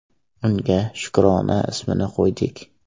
Unga Shukrona ismini qo‘ydik.